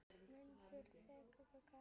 Mundu þegar